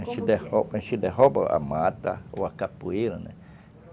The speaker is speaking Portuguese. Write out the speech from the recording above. A gente derruba a mata ou a capoeira, né?